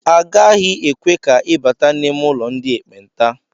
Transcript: Agaghị ekwe ka ị bata n'ime ụlọ ndị ekpenta